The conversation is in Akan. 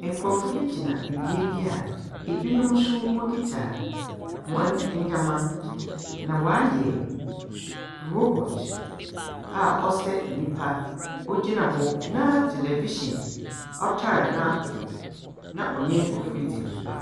Nkurɔfo bi gyina bea bi a binom nso wɔkita hɔn ndzɛmba, na wɔayɛ robot a ɔsɛ nyimpa, ɔgyina hɔ, na television ɔtar n'akoko, na ɔnye nkurɔfo redzi nkitaho.